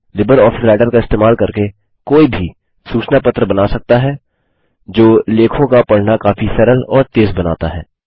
Libre office Writer का इस्तेमाल करके कोई भी सूचना पत्र बना सकता है जो लेखों का पढना काफी सरल और तेज़ बनाता है